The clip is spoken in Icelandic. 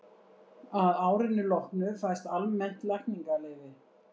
að árinu loknu fæst almennt lækningaleyfi